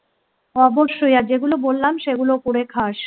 অবশ্যই আর যেগুলো বললাম সেগুলো করে খাস